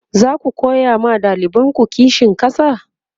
zaku koya ma ɗalibanku kishin ƙasa?